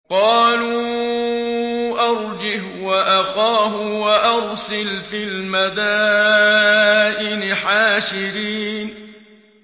قَالُوا أَرْجِهْ وَأَخَاهُ وَأَرْسِلْ فِي الْمَدَائِنِ حَاشِرِينَ